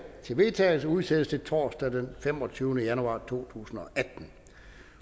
til vedtagelse udsættes til torsdag den femogtyvende januar to tusind